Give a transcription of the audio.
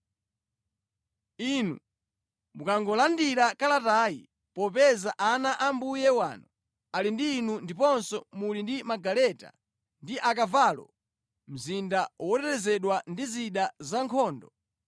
“Inu mukangolandira kalatayi, popeza ana a mbuye wanu ali ndi inu ndiponso muli ndi magaleta ndi akavalo, mzinda wotetezedwa ndi zida zankhondo,